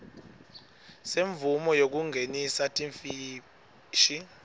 semvumo yekungenisa timfishi